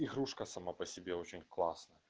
и кружка сама по себе очень классно